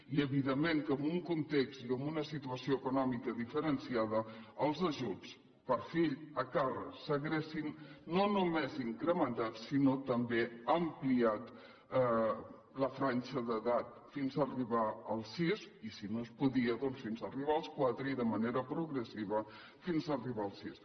i evidentment que en un context i en una situació econòmica diferenciada els ajuts per fill a càrrec s’haurien no només incrementat sinó també ampliat la franja d’edat fins arribar als sis i si no es podia dons fins arribar als quatre i de manera progressiva fins arribar als sis